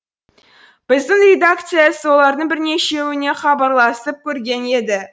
біздің редакция солардың бірнешеуіне хабарласып көрген еді